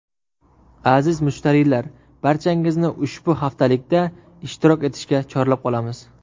Aziz mushtariylar, barchangizni ushbu haftalikda ishtirok etishga chorlab qolamiz.